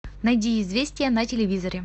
найди известия на телевизоре